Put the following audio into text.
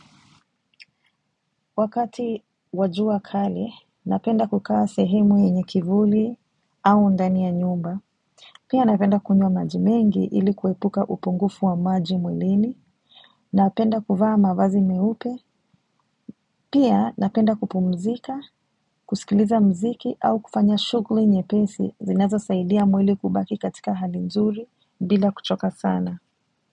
Wakati wajua kali, napenda kukaa sehemu yenye kivuli au ndani ya nyumba. Pia napenda kunywa maji mengi ili kuepuka upungufu wa maji mwilini. Napenda kuvaa mavazi meupe. Pia napenda kupumzika, kusikiliza mziki au kufanya shugli nye pesi zinazo saidia mwili kubaki katika hali mzuri bila kuchoka sana.